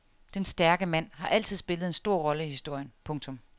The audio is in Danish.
Den stærke mand har altid spillet en stor rolle i historien. punktum